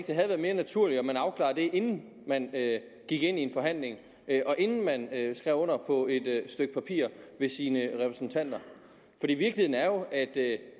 det havde været mere naturligt at man afklarede det inden man gik ind i en forhandling og inden man skrev under på et stykke papir ved sine repræsentanter virkeligheden er jo at det